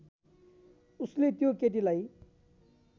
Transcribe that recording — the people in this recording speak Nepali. उसले त्यो केटीलाई